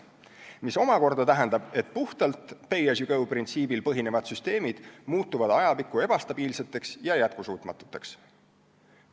See omakorda tähendab, et puhtalt pay-as-you-go-printsiibil põhinevad süsteemid muutuvad ajapikku ebastabiilseteks ja jätkusuutmatuteks.